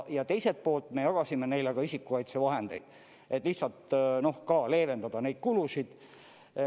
Ja teiselt poolt, me jagasime neile ka isikukaitsevahendeid, et lihtsalt ka leevendada neid kulusid.